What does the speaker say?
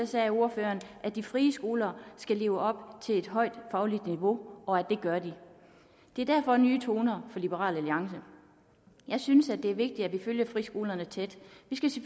sagde ordføreren at de frie skoler skal leve op til et højt fagligt niveau og at det gør de det er derfor nye toner fra liberal alliance jeg synes at det er vigtigt at vi følger friskolerne tæt